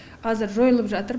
қазір жойылып жатыр